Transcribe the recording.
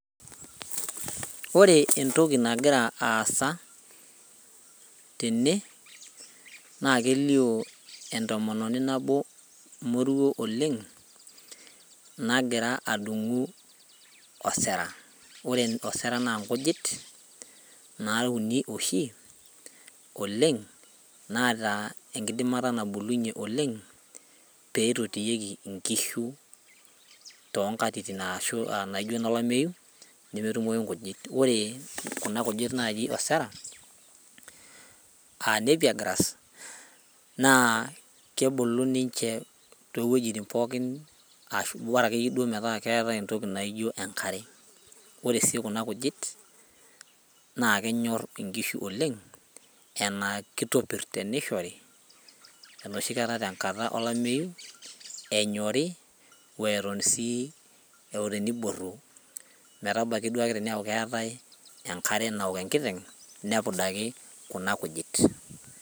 Ore entoki nagira aasa tene naa kelio entomononi nabo moruo oleng nagira adung'u osera ore osera naa nkujit nauni oshi oleng naata enkidimata nabulunyie oleng peitotiyieki inkishu tonkatitin aashu uh naijo inolameyu nemetumoi inkujit ore kuna kujit naaji osera aa napier grass naa kebulu ninche towuejitin pookin ashu bora akeyie duo metaa keetae entoki naijo enkare ore sii kuna kujit naa kenyorr inkishu oleng enaa kitopirr tenishori enoshi kata tenkata olameyu enyori weton sii oteniborru metabaki duake teniaku keetae enkare naok enkiteng nepudaki kuna kujit.